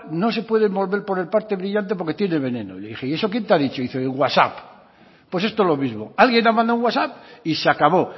no se puede envolver por la parte brillante porque tiene veneno y le dije y eso quién te ha dicho y dice el whatsapp pues esto lo mismo alguien ha mandado un whatsapp y se acabó